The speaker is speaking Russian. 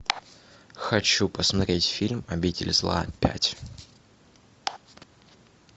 хочу посмотреть фильм обитель зла пять